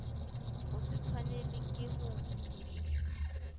ho se tshwanelwe ke ho